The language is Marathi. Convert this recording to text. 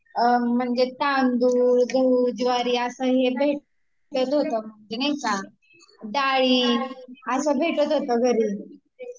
आमचे एरियातल्या स्कूल मध्ये ना म्हणजे तांदूळ, गहू, ज्वारी असं हे भेटत होते, ते नाही का डाळी असं भेटत होत घरी